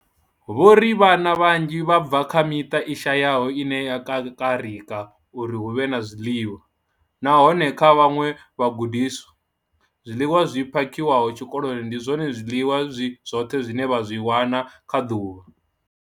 Vho ri, Vhana vhanzhi vha bva kha miṱa i shayaho ine ya kakarika uri hu vhe na zwiḽiwa, nahone kha vhaṅwe vhagudiswa, zwiḽiwa zwi phakhiwaho tshikoloni ndi zwone zwiḽiwa zwi zwoṱhe zwine vha zwi wana kha ḓuvha.